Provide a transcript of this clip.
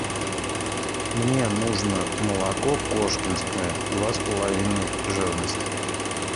мне нужно молоко кошкинское два с половиной жирность